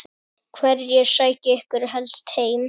Hverjir sækja ykkur helst heim?